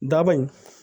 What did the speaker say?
Daba in